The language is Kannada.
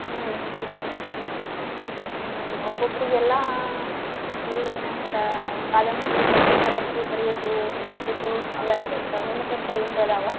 ಹಾ ಹ್ಮ್ ಒಬ್ಬೊಬ್ರಿಗೆಲ್ಲಾ ಏನಂತಾರ ಕಥಿ ಕಾದಂಬರಿ ಬರಿಯೋದು, ಓದುದು ಹವ್ಯಾಸ ಇರ್ತಾವ. ನಿನಗ್ ಅಂತವೇನಾರಾ ಅದಾವ?